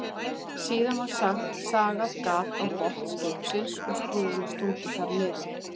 Síðan var sagað gat á botn skipsins og skrúfunni stungið þar niður.